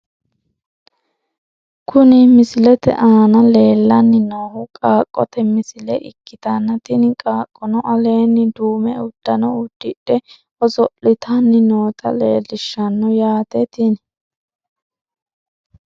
Kuni misilete aana leellanni noohu qaaqqote misile ikkitanna tini qaaqqono aleenni duume uddano uddidhe, oso'litanni noota leellishshanno yaate tini .